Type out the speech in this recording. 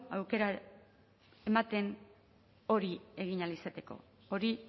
aukera ematen hori egin ahal izateko hori